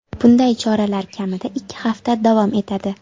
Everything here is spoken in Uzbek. Bunday choralar kamida ikki hafta davom etadi.